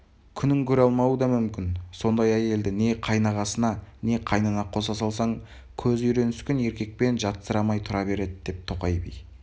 күнін көре алмауы да мүмкін сондай әйелді не қайнағасына не қайнына қоса салсаң көзі үйреніскен еркекпен жатсырамай тұра береді деп тоқай би